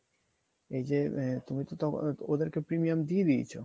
এইযে আ~ তুই তো ওদেরকে premium দিয়ে দিয়েছো